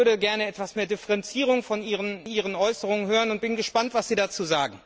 Ich würde gern etwas mehr Differenzierung in Ihren Äußerungen hören und bin gespannt, was Sie dazu sagen.